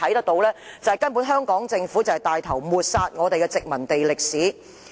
不過，顯然政府帶頭抹煞我們的殖民地歷史。